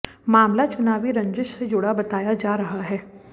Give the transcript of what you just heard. मामला चुनावी रंजिश से जुड़ा बताया जा रहा है